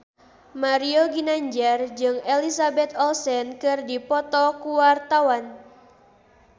Mario Ginanjar jeung Elizabeth Olsen keur dipoto ku wartawan